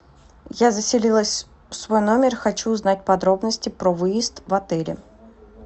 я заселилась в свой номер хочу узнать подробности про выезд в отеле